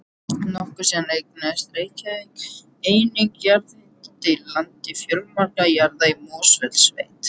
Nokkru síðar eignaðist Reykjavík einnig jarðhitaréttindi í landi fjölmargra jarða í Mosfellssveit.